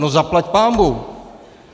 No zaplať pánbůh.